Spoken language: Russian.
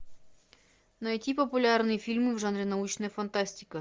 найти популярные фильмы в жанре научная фантастика